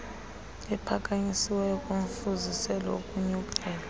aphakanyisiweyo ngumfuziselo wokunyukela